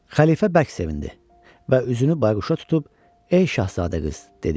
Xəlifə bərk sevindi və üzünü Bayquşa tutub, “Ey Şahzadə qız,” dedi.